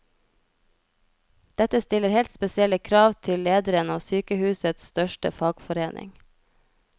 Dette stiller helt spesielle krav til lederen av sykehusets største fagforening.